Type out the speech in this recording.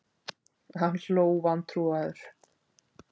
Hann hló vantrúaður.